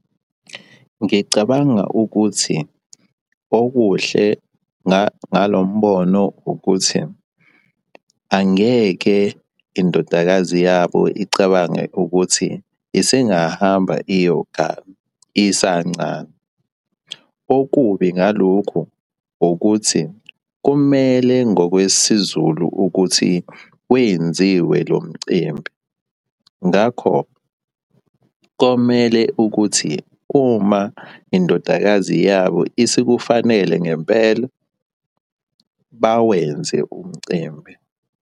Ngicabanga ukuthi okuhle ngalo mbono ukuthi angeke indodakazi yabo icabange ukuthi isengahamba iyogana isancane. Okubi ngalokhu ukuthi, kumele ngokwesiZulu ukuthi kwenziwe lo mcimbi. Ngakho, komele ukuthi uma indodakazi yabo isikufanele ngempela bawenze umcimbi.